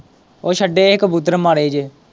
ਉਹ ਛੱਡੇ ਸੀ ਕਬੂਤਰ ਮਾੜੇ ਜਿਹੇ।